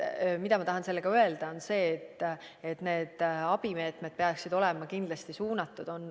Ma tahan sellega öelda, et need abimeetmed peaksid olema kindlasti suunatud.